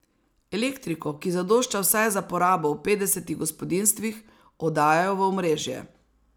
Elektriko, ki zadošča vsaj za porabo v petdesetih gospodinjstvih, oddajajo v omrežje.